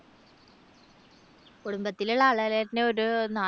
കുടുംബത്തിലുള്ള ആളുകൾ തന്നെ ഒരു നാല്